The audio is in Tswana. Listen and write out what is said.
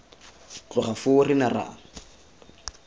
tloga foo re ne ra